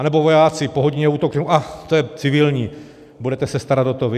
Anebo vojáci po hodině útoku řeknou ach, to je civilní, budete se starat o to vy.